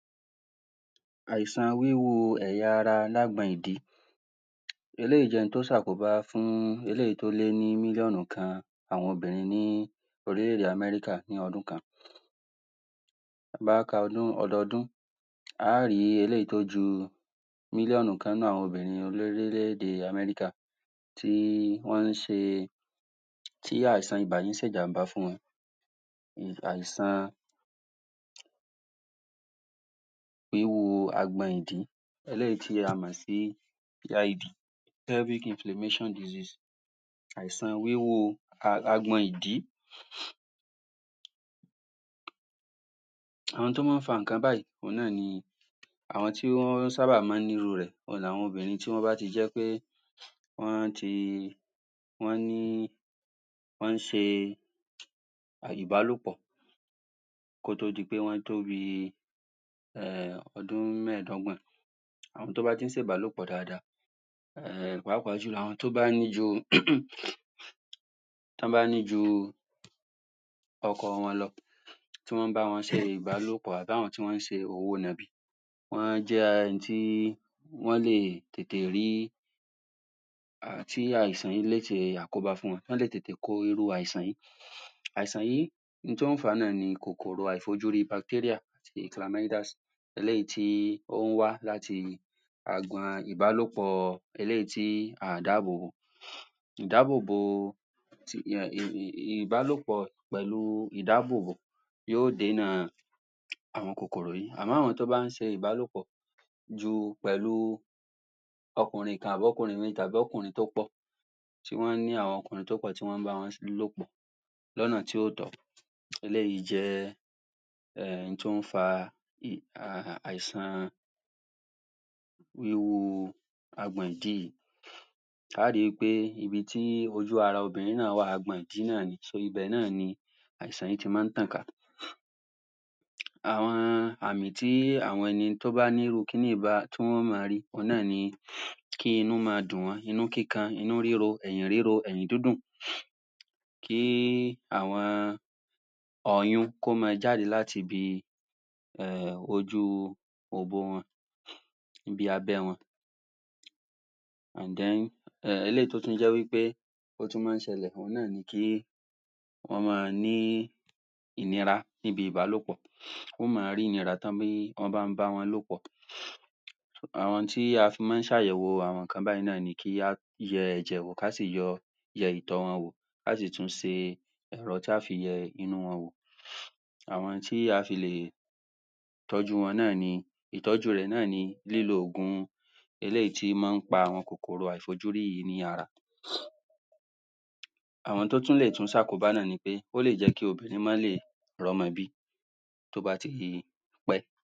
Àìsàn wíwo ẹ̀yà ara l'ágbọn ìdí eléyìí jẹ́ ohun tó ṣe àkóbá fún eleyìí tó lé ní mílíọ̀nù kan àwọn obìnrin ní orílẹ̀-èdè kan ní Amẹ́ríkà ti bá ka ọdún, ọdọọdún a ó rí eléyìí tó ju mílíọ̀nù kan nínú àwọn obìnrin orílẹ̀-èdè Amẹ́rìkà tí wọ́n ń ṣe, tí àìsàn ibà yìí ń ṣe ìjàm̀bá fún wọn. Àìsàn ihò agbọn ìdí eléyìí tí a mọ̀ sí PID Pelvic Inflammatory disease. ẹ̀san wíwò um agbọn ìdí àwọn tó máa ń fa ǹnkan báyìí, òun náà ni àwọn tí ó sábà máa ń ní iru rẹ̀ òun ni àwọn obìnrin tó jẹ́ pé wọ́n ti wọ́n ni, wọ́n ṣe ìbálòpọ̀ kó tó di pé wọ́n tó bi um ọdún mẹ́èdọ́gbọ̀n ẹni tó bá ti ń ṣe ìbálòpọ̀ dáadáa pàápàá jùlọ, àwọn tó bá ní bi tọ́ bá ní ju ọkọ wọn lọ tí wọn bá wọn ṣe ìbálòpọ̀ tàbi tí wọn ṣe òwò nọ̀bì wọ́n jẹ́ ẹni tí wọ́n lè tètè rí um tí àìsàn yìí le ṣe àkóbá fún wọn, tó lè tètè kó irú àìsàn yìí àìsàn yìí ohun tó fà á náà ni kòkòrò àìfòjúrí, bacteria eléyìí tí a mọ̀ sí um ìbálòpọ̀, eléyìí tí a ò dábòbò ìdábòbò um ìbálòpọ̀ pẹ̀lú ìdábòbò yóò dènà àwọn kòkòrò yìí àbí àwọn tí ó máa ń ṣe ìbálòpọ̀ ju, pẹ̀lú ọkùnrin kan, àbí ọkùnrin mìí tàbi ọkùnrin pụ́pọ̀ tí wọ́n ní àwọn obìnrin tó pọ̀, tí wọ́n bá wọn lòpò. lọ́nà tí ò tọ́ eléyìí jẹ́ um ohun tí ó fa um àìsàn wíwo agbọn ìdí yìí a ó ri pé ibi tí ojú ara obìnrin náà wà, agbọn ìdí náà ni, ibè náà ni àìsàn yìí ti máa ń tàn ká àwọn àmì tí àwọn ẹni tó bá ní irú kiní yìí, tí wọ́n máa ri, òun náà ni kí inú máa dùn wọ́n, inú kíkan, inú ríro, ẹ̀yìn ríro, ẹ̀yìn dídùn kí àwọn ọyún, kó máa jáde láti ibi um ojú òbò wọn ibi abẹ́ wọn um eléyìí tó tú jẹ́ wí pé ó tún máa ń ṣẹlẹ̀, ọun náà ni kí wọ́n máa ní ìnira níbi ìbálòpọ̀ wọ́n máa ń ní ìnira tọ́ bá ń ba wọn lòpọ̀ àwọn ohun tí a fi máa ń ṣe àyẹ̀wò àwọn ǹnkan báyìí náà ni kí á yẹ ẹ̀jẹ̀ wò, ká sì yọ yẹ ìtọ̀ wọn wò. A ó sì tún ṣe ẹ̀rọ tí a ó fi yẹ inú wọn wò àwọn ohun tí a fi lè tọ́jú wọn náà ni ìtọ́jú rẹ̀ náà ni lílo ògùn eléyìí tí ó máa ń pa àwọn kòkòrò àìfojúrí yìí ní ara Àwọn tó tún ṣe àkóbá náà ni, ó lè jẹ́ kí obìnrin máa lè r'ọ́mọ bí, tó bá ti pẹ́.